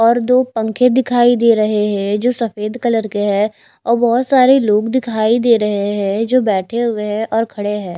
और दो पंखे दिखाई दे रहे हैं जो सफेद कलर के हैं और बहोत सारे लोग दिखाई दे रहे हैं जो बैठे हुए हैं और खड़े हैं।